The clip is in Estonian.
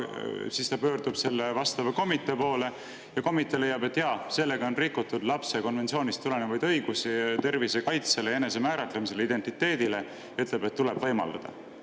Siis pöördub ta aga selle komitee poole, kes leiab, et jaa, sellega on rikutud lapse konventsioonist tulenevaid õigusi tema tervise kaitsele ja enesemääratlemisele, identiteedile, ning ütleb, et seda tuleb talle võimaldada.